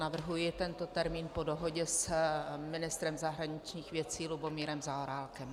Navrhuji tento termín po dohodě s ministrem zahraničních věcí Lubomírem Zaorálkem.